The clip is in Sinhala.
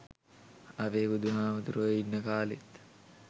අපේ බුදු හාමුදුරුවෝ ඉන්න කාලේත්